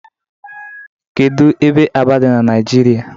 Kedụ ebe Aba dị n'Naijiria